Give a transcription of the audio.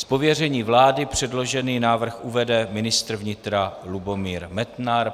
Z pověření vlády předložený návrh uvede ministr vnitra Lubomír Metnar.